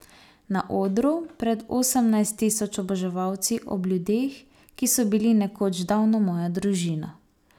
Na odru, pred osemnajst tisoč oboževalci, ob ljudeh, ki so bili nekoč davno moja družina.